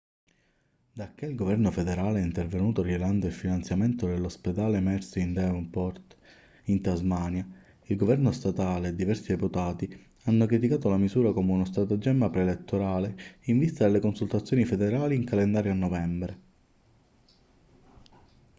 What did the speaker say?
dacché il governo federale è intervenuto rilevando il finanziamento dell'ospedale mersey di devonport in tasmania il governo statale e diversi deputati hanno criticato la misura come uno stratagemma preelettorale in vista delle consultazioni federali in calendario a novembre